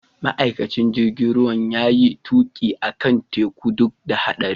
Ma'aikacin jirigin ruwan ya iya tuki akan tekun duk da haɗarin.